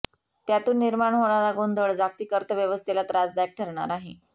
त्यातून निर्माण होणारा गोंधळ जागतिक अर्थव्यवस्थेला त्रासदायक ठरणार आहे